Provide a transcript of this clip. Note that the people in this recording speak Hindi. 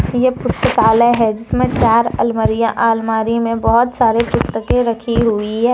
ये पुस्तकालय है जिसमें चार अलमारियां और अलमारी में बहुत सारी पुस्तकें रखी हुई है।